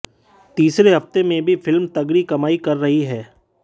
तीसरे हफ्ते में भी फिल्म तगड़ी कमाई कर रही है